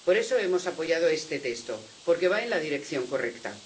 Por eso hemos apoyado este texto, porque va en la dirección correcta.